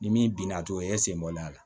Ni min binna togo e sen bɔlen a la